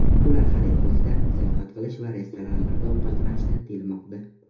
Ular xarid qilishdan, sayohat qilish va restoranlarda ovqatlanishdan tiyilmoqda.